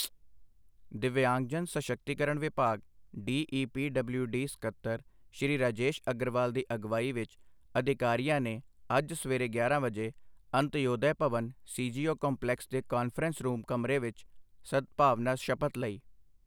ਦਿੱਵਿਯਾਂਗਜਨ ਸਸ਼ਕਤੀਕਰਣ ਵਿਭਾਗ ਡੀਈਪੀਡਬਲਿਊਡੀ ਸਕੱਤਰ, ਸ਼੍ਰੀ ਰਾਜੇਸ਼ ਅਗਰਵਾਲ ਦੀ ਅਗਵਾਈ ਵਿੱਚ ਅਧਿਕਾਰੀਆਂ ਨੇ ਅੱਜ ਸਵੇਰੇ ਗਿਆਰਾਂ ਵਜੇ ਅੰਤਯੋਦਯ ਭਵਨ, ਸੀਜੀਓ ਕੰਪਲੈਕਸ ਦੇ ਕਾਨਫਰੰਸ ਰੂਮ ਕਮਰੇ ਵਿੱਚ ਸਦਭਾਵਨਾ ਸ਼ਪਥ ਲਈ।